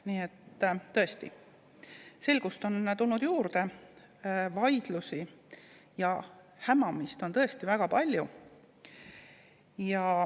Nii et tõesti, selgust on tulnud juurde, ehkki vaidlusi ja hämamist on väga palju.